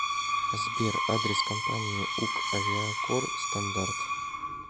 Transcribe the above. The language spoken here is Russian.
сбер адрес компании ук авиакор стандарт